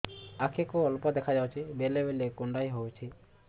ଆଖି କୁ ଅଳ୍ପ ଦେଖା ଯାଉଛି ବେଳେ ବେଳେ କୁଣ୍ଡାଇ ହଉଛି